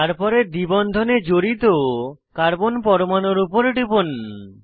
তারপরে দ্বি বন্ধনে জড়িত কার্বন পরমাণুর উপর টিপুন